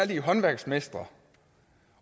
de håndværksmestre